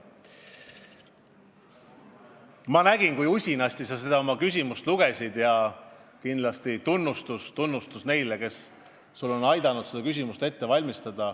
Ma nägin, kui usinasti sa oma küsimust lugesid, ja kindlasti tunnustus neile, kes sul on aidanud seda küsimust kirja panna.